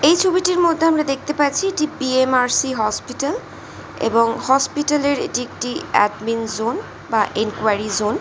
এই ছবিটির মধ্যে আমরা দেখতে পারছি B. M. R. C hospital এবং হসপিটাল -এর এটি একটি আটলিং জোন বা এনকুয়ারি জোন ।